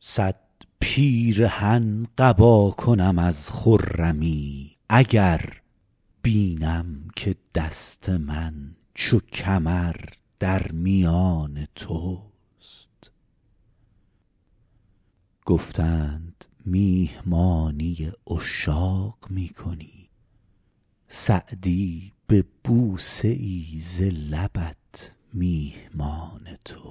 صد پیرهن قبا کنم از خرمی اگر بینم که دست من چو کمر در میان توست گفتند میهمانی عشاق می کنی سعدی به بوسه ای ز لبت میهمان توست